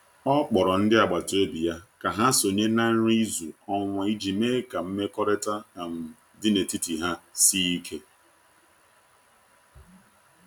O kpọrọ ndị agbata obi ya ka ha sonye na nri izu ọnwa iji mee ka mmekọrịta um dị n’etiti ha sie ike.